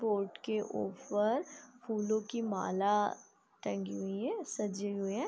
Board के ऊपर फूलों की माला टंगी हुई है सजी हुई है ।